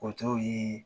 O t'o ye